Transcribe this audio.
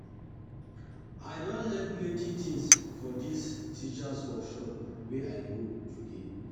I don learn plenty tins for dis teachers' workshop wey I go today.